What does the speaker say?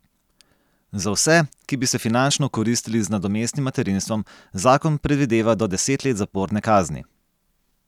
Za vse, ki bi se finančno okoristili z nadomestnim materinstvom, zakon predvideva do deset let zaporne kazni.